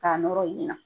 K'a nɔrɔ ɲina